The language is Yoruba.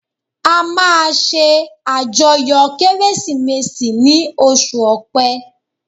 A máa ṣe àjọyọ̀ Kérésìmesì ni oṣù ọpẹ